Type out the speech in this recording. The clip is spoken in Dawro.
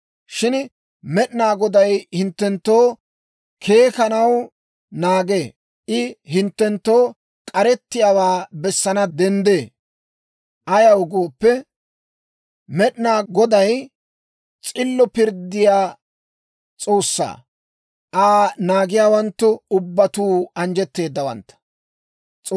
Shin Med'inaa Goday hinttenttoo keekanaw naagee; I hinttenttoo k'arettiyaawaa bessanaw denddee. Ayaw gooppe, Med'inaa Goday s'illo pirddiyaa S'oossaa; Aa naagiyaawanttu ubbatuu anjjetteedawantta.